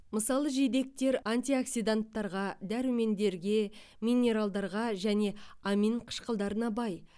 мысалы жидектер антиоксиданттарға дәрумендерге минералдарға және амин қышқылдарына бай